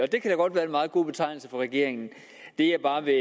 det kan da godt være en meget god betegnelse for regeringen det jeg bare vil